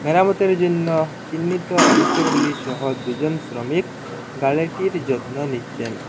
মেরামতের জন্য চিহ্নিত অংশগুলিসহ দুজন শ্রমিক গাড়িটির যত্ন নিচ্ছেন।